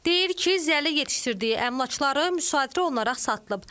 Deyir ki, zəli yetişdirdiyi əmlakları müsadirə olunaraq satılıb.